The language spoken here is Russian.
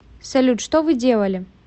салют что вы делали